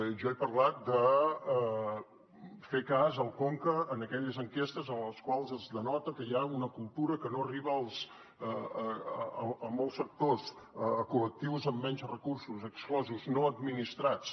jo he parlat de fer cas al conca en aquelles enquestes en les quals es denota que hi ha una cultura que no arriba a molts sectors a col·lectius amb menys recursos exclosos no administrats